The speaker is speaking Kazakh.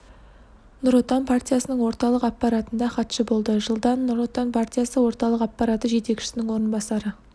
нұр отан партиясының орталық аппаратында хатшы болды жылдан нұр отан партиясы орталық аппараты жетекшісінің орынбасары